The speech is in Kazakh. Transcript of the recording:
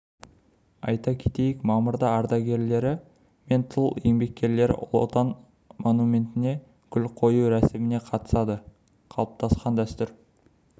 айта кетейік мамырда ардагерлері мен тыл еңбеккерлері отан қорғаушылар монументіне гүл қою рәсіміне қатысады қалыптасқан дәстүр